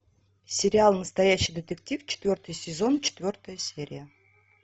сериал настоящий детектив четвертый сезон четвертая серия